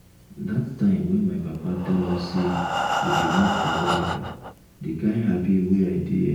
dat time when my papa tell us say we dey move to america the kyn happy wey i dey eh